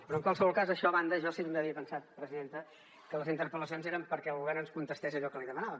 però en qualsevol cas això a banda jo sempre havia pensat presidenta que les interpel·lacions eren perquè el govern ens contestés allò que li demanàvem